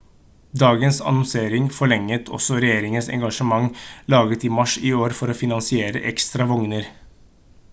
dagens annonsering forlenget også regjeringens engasjement laget i mars i år for å finansiere ekstra vogner